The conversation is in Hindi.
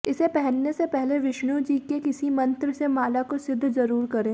इसे पहनने से पहले विष्णु जी के किसी मंत्र से माला को सिद्ध जरूर करें